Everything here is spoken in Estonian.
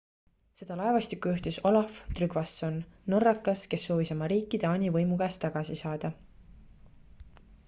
seda laevastikku juhtis olaf trygvasson norrakas kes soovis oma riiki taani võimu käest tagasi saada